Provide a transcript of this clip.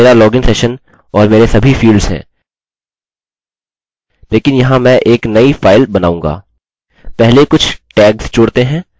यहाँ मेरा login session और मेरे सभी फील्ड्स हैं लेकिन यहाँ मैं एक नई फाइल बनाऊँगा